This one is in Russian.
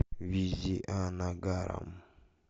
визианагарам